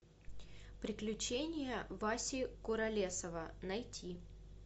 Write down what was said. приключения васи куролесова найти